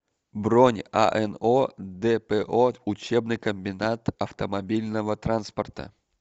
бронь ано дпо учебный комбинат автомобильного транспорта